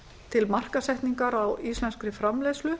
til markaðssetningar á íslenskri framleiðslu